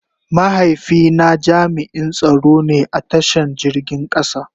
Mahaifi na jami'n tsaro ne a ta shan jirgin kasa.